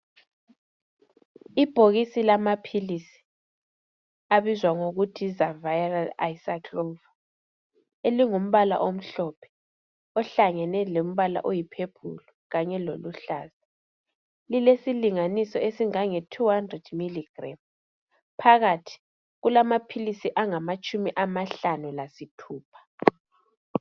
ibhokisi lamaphisi abizwa ngokuthi yi ZAVIRAL elumgumpala omhlophe ohlangane lempala oyi purple kanye loluhlaza lilesilinganiso esingange 200mg phakathi kulamaphilisi angamatshumi amahlanu lasithupha